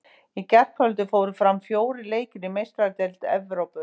Í gærkvöldi fóru fram fjórir leikir í Meistaradeild Evrópu.